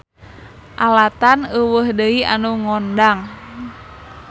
Alatan euweuh deui anu ngondang.